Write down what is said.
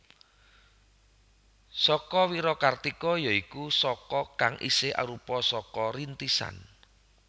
Saka Wirakartika ya iku Saka kang isih arupa Saka Rintisan